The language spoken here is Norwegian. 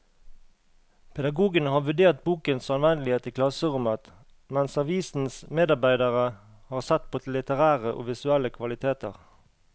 Pedagogene har vurdert bokens anvendelighet i klasserommet, mens avisens medarbeidere har sett på litterære og visuelle kvaliteter.